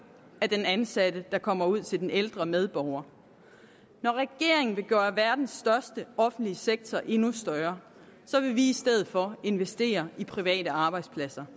af den ansatte der kommer ud til den ældre medborger når regeringen vil gøre verdens største offentlige sektor endnu større vil vi i stedet for investere i private arbejdspladser